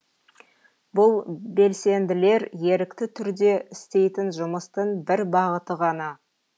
бұл белсенділер ерікті түрде істейтін жұмыстың бір бағыты ғана